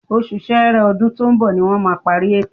Oṣù Sẹẹrẹ ọdún tó ń bọ̀ ni wọ́n máa parí ètò